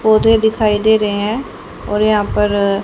पौधे दिखाई दे रहे हैं और यहां पर--